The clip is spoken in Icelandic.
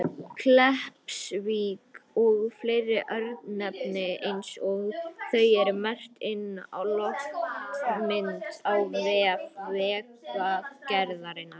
Kleppsvík og fleiri örnefni eins og þau eru merkt inn á loftmynd á vef Vegagerðarinnar.